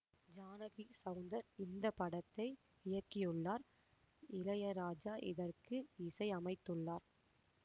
ஜானகி செளந்தர் இந்த படத்தை இயக்கியுள்ளார் இளையராஜா இதற்கு இசை அமைத்துள்ளார்